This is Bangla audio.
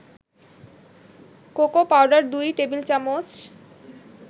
cocoa powder ২ টেবিল-চামচ